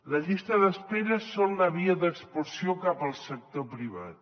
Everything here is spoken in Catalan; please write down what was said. la llista d’espera és la via d’expulsió cap al sector privat